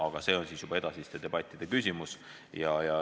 Aga see on juba edasiste debattide küsimus.